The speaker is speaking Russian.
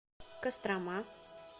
кострома